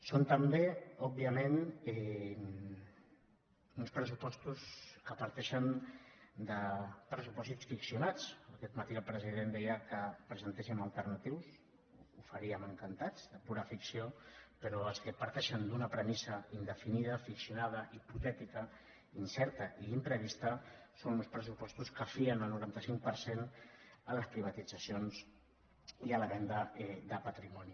són també òbviament uns pressupostos que parteixen de pressupòsits ficcionats aquest matí el president deia que en presentéssim d’alternatius ho faríem encantats de pura ficció però els que parteixen d’una premissa indefinida ficcionada hipotètica incerta i imprevista són uns pressupostos que fien el noranta cinc per cent a les privatitzacions i a la venda de patrimoni